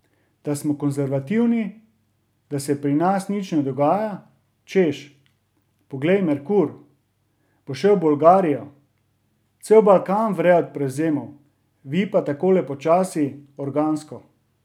Da smo konzervativni, da se pri nas nič ne dogaja, češ, poglejte Merkur, bo šel v Bolgarijo, cel Balkan vre od prevzemov, vi pa takole počasi, organsko ...